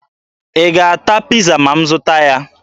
Ị ga-ata Piiza ma m zụta ya?